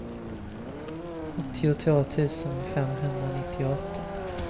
åttiotvå tusen femhundranittioåtta